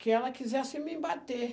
que ela quisesse me bater.